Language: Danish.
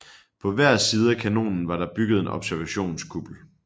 På hver side af kanonen var der bygget en observationskuppel